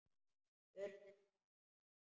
Hurðin hrökk upp!